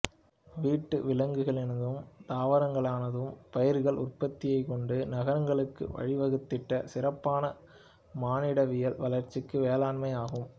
வீட்டு விலங்குகளினதும் தாவரங்களினதும் பயிர்கள் உற்பத்தியைக் கொண்டு நாகரிகங்களுக்கு வழி வகுத்திட்ட சிறப்பான மானிடவியல் வளர்ச்சி வேளாண்மையாகும்